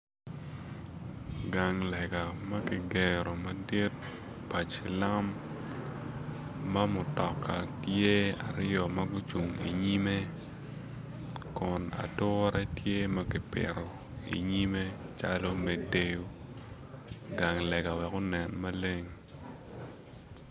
Gang lege ma kigero madit pa cilam ma mutoka tye aryo ma gucung inyimme kun ature tye ma kipito inyrimme me deyo i gang lega wek onen maleng